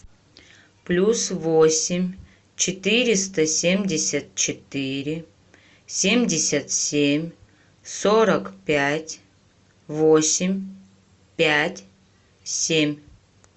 плюс восемь четыреста семьдесят четыре семьдесят семь сорок пять восемь пять семь